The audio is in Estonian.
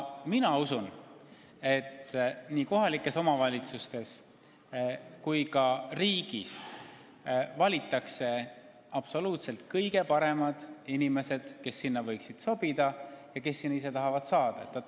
Mina usun, et nii kohalikes omavalitsustes kui ka riigis valitakse etteotsa absoluutselt kõige paremad inimesed, kes sinna sobivad ja kes sinna ka ise tahavad saada.